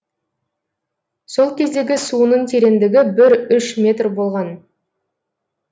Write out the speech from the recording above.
сол кездегі суының тереңдігі бір үш метр болған